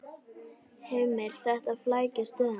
Heimir: Þetta flækir stöðuna?